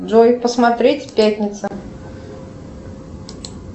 джой посмотреть пятница